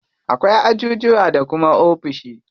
Akwai ajujuwa da kuma ofishi.